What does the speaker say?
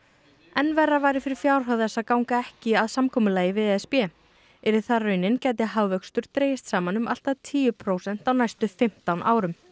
enn verra væri fyrir fjárhag þess að ganga ekki að samkomulagi við e s b yrði það raunin gæti hagvöxtur dregist um saman um allt að tíu prósent á næstu fimmtán árum